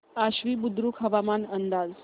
आश्वी बुद्रुक हवामान अंदाज